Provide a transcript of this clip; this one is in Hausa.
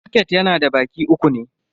Soket yana da baki uku ne.